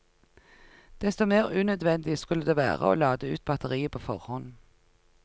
Desto mer unødvendig skulle det være å lade ut batteriet på forhånd.